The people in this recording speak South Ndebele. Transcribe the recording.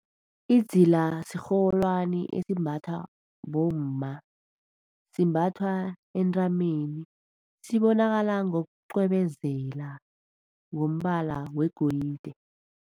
Idzila sirholwani esimbathwa bomma, simbathwa entameni sibonakala ngokucwebezela ngombala wegolide.